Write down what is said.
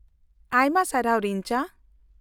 -ᱟᱭᱢᱟ ᱥᱟᱨᱦᱟᱣ, ᱨᱤᱧᱡᱟ ᱾